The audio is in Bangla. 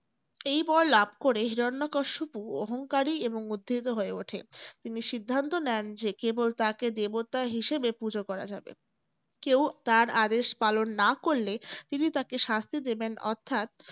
এই বর লাভ করে হিরণ্যকশিপু অহংকারী এবং উদ্ধত হয়ে ওঠে। তিনি সিদ্ধান্ত নেন যে কেবল তাকে দেবতা হিসেবে পূজো করা যাবে। কেউ তাঁর আদেশ পালন না করলে তিনি তাকে শাস্তি দেবেন অর্থাৎ